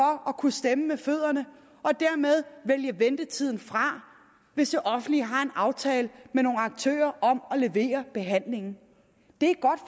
at kunne stemme med fødderne og dermed vælge ventetiden fra hvis det offentlige har en aftale med nogle aktører om at levere behandlingen det